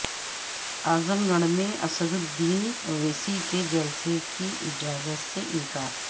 اعظم گڑھ میں اسد الدین اویسی کے جلسہ کی اجازت سے انکار